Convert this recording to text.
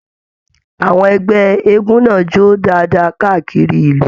Àwọn ẹgbẹ eégún náà jó dáadáa káàkiri ìlú.